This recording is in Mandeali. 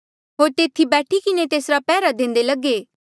होर तेथी बैठी किन्हें तेसरा पैहरा देंदे लगे